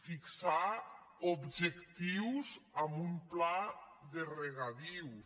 fixar ob·jectius amb un pla de regadius